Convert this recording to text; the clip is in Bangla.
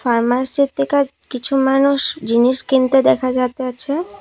ফার্মাসি থিকা কিছু মানুষ জিনিস কিনতে দেখা যাতাছে ।